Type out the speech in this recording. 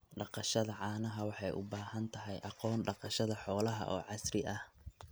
Dhaqashada caanaha waxay u baahan tahay aqoon dhaqashada xoolaha oo casri ah.